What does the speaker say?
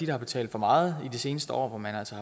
har betalt for meget i de seneste år hvor man altså